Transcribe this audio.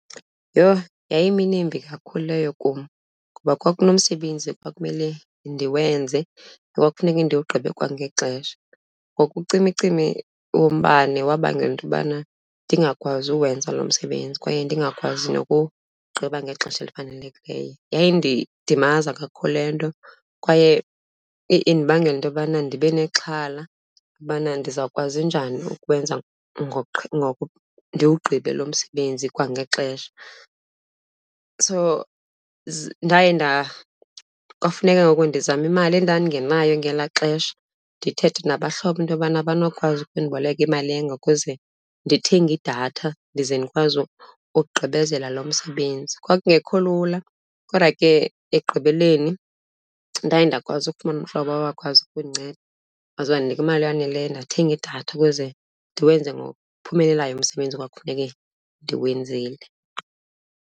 Yho, yayimini embi kakhulu leyo kum ngoba kwakunomsebenzi ekwakumele ndiwenze, ekwakufuneka ndiwugqibe kwangexesha. Ngoku ucimicimi wombane wabangela into yobana ndingakwazi uwenza loo msebenzi kwaye ndingakwazi nokuwugqiba ngexesha elifanelekileyo. Yayindidimaza kakhulu le nto kwaye indibangela into yobana ndibe nexhala ubana ndizawukwazi njani ukuwenza ndiwugqibe lo msebenzi kwangexesha. So ndaye , kwafuneka ngoku ndizame imali endandingenayo ngelaa xesha, ndithethe nabahlobo into yobana abanokwazi ukundiboleka imali enga ukuze ndithenge idatha ndize ndikwazi ukugqibezela loo msebenzi. Kwakungekho lula kodwa ke ekugqibeleni ndaye ndakwazi ukufumana umhlobo owakwazi kundinceda, waze wandinika imali eyaneleyo ndathenga idatha ukuze ndiwenze ngokuphumelelayo umsebenzi ekwakufuneke ndiwenzile.